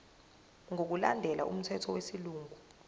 ngokulandela umthetho wesilungu